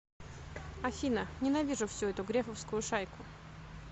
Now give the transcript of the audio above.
афина ненавижу всю эту грефовскую шайку